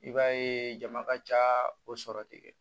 I b'a ye jama ka ca o sɔrɔ de